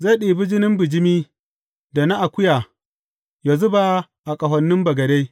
Zai ɗibi jinin bijimi da na akuya yă zuba a ƙahonin bagade.